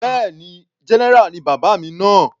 Bẹ́ẹ̀ni, general ni bàbá mi náà.